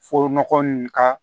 Fo nɔgɔ nin ka